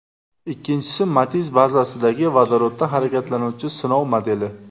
Ikkinchisi Matiz bazasidagi, vodorodda harakatlanuvchi sinov modeli.